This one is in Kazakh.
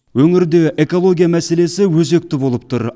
өңірде экология мәселесі өзекті болып тұр